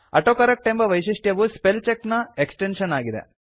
autocorrect ಎಂಬ ವೈಶಿಷ್ಟ್ಯವು spell check ನ ಎಕ್ಸ್ಟೆನ್ಶನ್ ಆಗಿದೆ